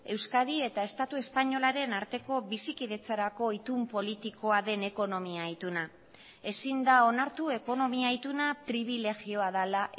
euskadi eta estatu espainolaren arteko bizikidetzarako itun politikoa den ekonomia ituna ezin da onartu ekonomia ituna pribilegioa dela